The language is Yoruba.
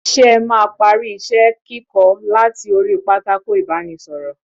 Ṣé ẹ máa parí isẹ kíkọ láti orí pátákó ibanisoro?